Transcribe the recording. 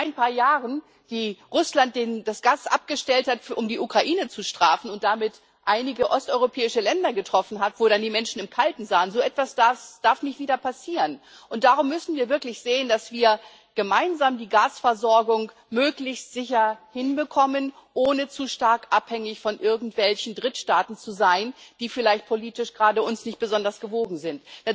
Dass vor ein paar Jahren Russland das Gas abgestellt hat, um die Ukraine zu strafen und damit einige osteuropäische Länder getroffen hat, wo dann die Menschen im Kalten saßen so etwas darf nicht wieder passieren. Darum müssen wir wirklich sehen, dass wir gemeinsam die Gasversorgung möglichst sicher hinbekommen, ohne zu stark von irgendwelchen Drittstaaten abhängig zu sein, die uns vielleicht gerade politisch nicht besonders gewogen sind.